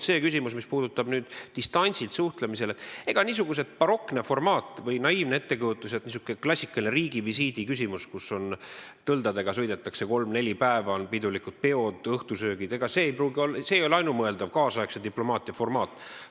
Mis puudutab distantsilt suhtlemist, siis ega niisugune barokne formaat või naiivne ettekujutus, et on klassikaline riigivisiit, kus sõidetakse kolm-neli päeva tõldadega, on uhked peod, õhtusöögid, ei ole ainumõeldav nüüdisaegse diplomaatia formaat.